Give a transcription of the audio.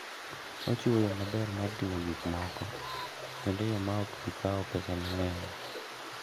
Ochiwo yo maber mar ting'o gik moko kendo e yo ma ok bi kawo pesa mang'eny.